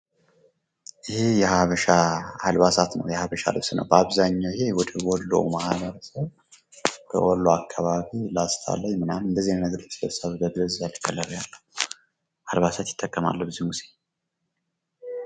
ይህ የሀበሻ አልባሳት ነው በአብዛኛው ጊዜ ወደ ወሎ አካባቢ ላስታ ላይ ምናምን እንደዚህ አይነት ልብሶች ይለብሳሉ ፤የባህል አልባሳት ይጠቀማሉ ብዙ ጊዜ።